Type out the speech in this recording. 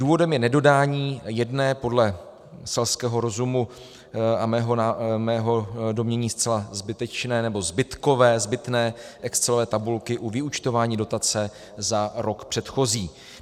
Důvodem je nedodání jedné, podle selského rozumu a mého domnění zcela zbytečné nebo zbytkové, zbytné, excelové tabulky o vyúčtování dotace za rok předchozí.